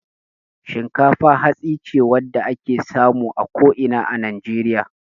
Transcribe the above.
Shinkafa hatsi ce wadda ake samu a ko ina a Najeriya.